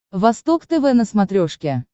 восток тв на смотрешке